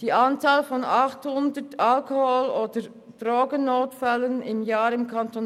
Die Anzahl von 800 Notfällen pro Jahr im Kanton